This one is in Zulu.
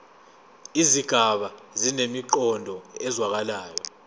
izigaba zinemiqondo ezwakalayo